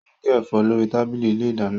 Ó ń gé ẹ̀fọ́ lórí tábìlì ilé ìdáná